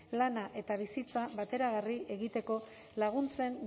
lana eta bizitza bateragarri egiteko laguntzen